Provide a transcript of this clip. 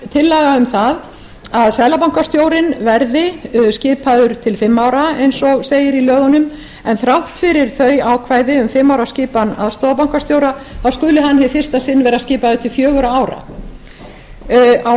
um það að seðlabankastjórinn verði skipaður til fimm ára eins og segir í lögunum en þrátt fyrir þau ákvæði um fimm ára skipan aðstoðarbankastjóra skuli hann hið fyrsta sinn vera skipaður til fjögurra ára á